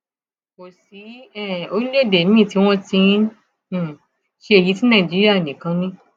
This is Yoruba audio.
kò sí um orílẹèdè miín tí wọn ti um ń ṣe èyí tí nàìjíríà nìkan ni